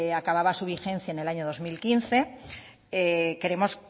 acababa su vigencia en el año dos mil quince queremos